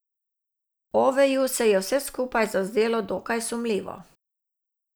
Oveju se je vse skupaj zazdelo dokaj sumljivo.